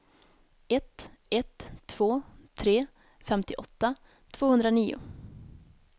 ett ett två tre femtioåtta tvåhundranio